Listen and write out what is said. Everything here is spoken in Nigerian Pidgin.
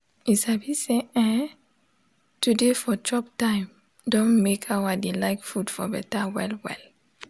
u sabi say[um]to de for chop time don make how i de like food for betta well well